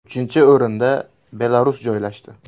Uchinchi o‘rinda Belarus joylashdi.